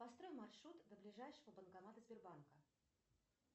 построй маршрут до ближайшего банкомата сбербанка